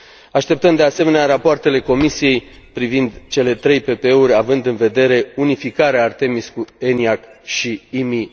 Așteptăm, de asemenea, rapoartele Comisiei privind cele 3 PPE uri, având în vedere unificarea ARTEMIS cu ENIAC și IMI